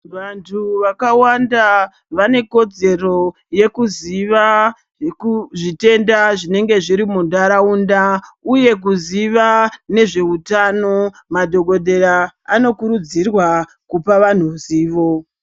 Vantu vakawanda vanekodzero yekuziva zvitenda zvinenga zviri muntaraunda uye kuziva nezveutano madhokodheya anokurudzirwa kupa vanhu ruzivo .